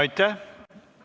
Aitäh!